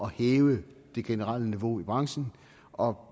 hæve det generelle niveau i branchen og